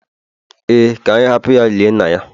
Ee, ka anyị hapụ ya lie nna ya